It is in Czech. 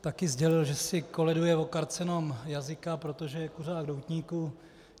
Taky sdělil, že si koleduje o karcinom jazyka, protože je kuřák doutníků.